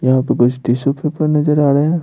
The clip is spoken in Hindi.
यहां पे कुछ टिश्यू पेपर नजर आ रहा है।